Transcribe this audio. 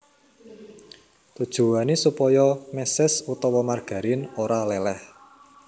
Tujuwané supaya méses utawa margarin ora léléh